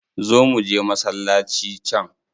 Zo muje masallaci can.